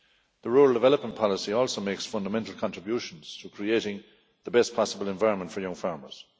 The rural development policy also makes fundamental contributions to creating the best possible environment for young farmers.